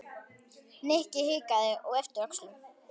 Nikki hikaði og yppti öxlum.